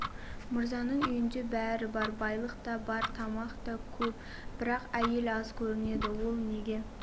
мырзаның үйінде бәрі бар байлық та бар тамақ та көп бірақ әйел аз көрінеді ол неге